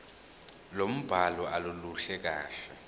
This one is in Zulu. lombhalo aluluhle kahle